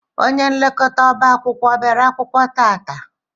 Ónyé nlekọta ọbá akwụkwọ ọ bịara akwụkwọ tata?